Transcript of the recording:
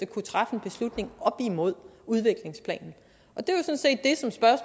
kunne træffe en beslutning op imod udviklingsplanen